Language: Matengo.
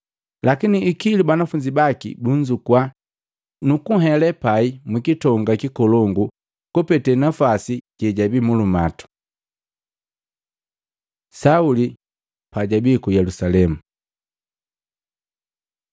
Lakini ikilu banafunzi baki bunzukua, nukunhele pai mu kitonga kikolongu kupete napwasi jejabii mulumatu. Sauli pajabii ku Yelusalemu